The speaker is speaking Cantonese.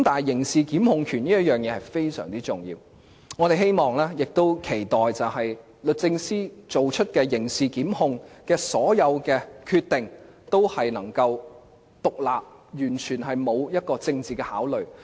刑事檢控權非常重要，我們希望並且期待律政司作出刑事檢控的所有決定，均能夠獨立，完全不存在政治考慮。